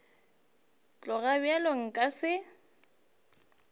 go tloga bjalo nka se